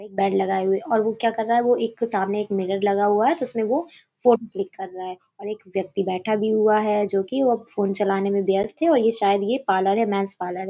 एक बेड लगाये हुए और वो क्या कर रहा है। वो सामने एक मिरर लगा हुआ है और तो उसमें वो फोट क्लिक कर रहा है और एक व्यक्ति बैठा भी हुआ है जो कि अब फ़ोन चलाने में व्यस्त है और ये शायद ये पार्लर है मेंस पार्लर है।